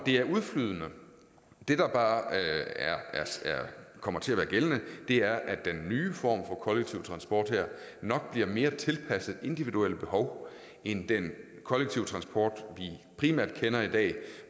er udflydende det der bare kommer til at være gældende er at den her nye form for kollektiv transport nok bliver mere tilpasset individuelle behov end den kollektive transport vi primært kender i dag